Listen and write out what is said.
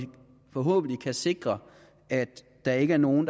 forhåbentlig skal sikre at der ikke er nogen